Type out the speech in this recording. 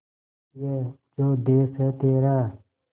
ये जो देस है तेरा